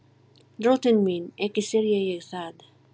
Drottinn minn, ekki syrgi ég það.